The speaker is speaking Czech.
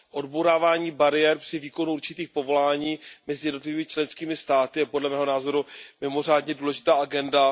Odbourávání bariér při výkonu určitých povolání mezi jednotlivými členskými státy je podle mého názoru mimořádně důležitá agenda.